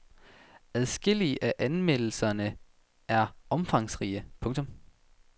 Adskillige af anmeldelserne er omfangsrige. punktum